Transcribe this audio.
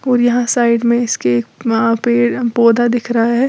और यहां साइड में इसके वहाँ पे पौधा दिख रहा है।